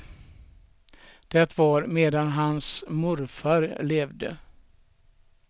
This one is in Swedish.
Det var medan hans morfar levde.